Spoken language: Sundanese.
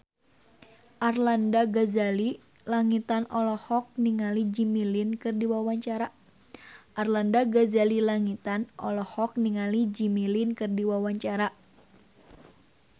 Arlanda Ghazali Langitan olohok ningali Jimmy Lin keur diwawancara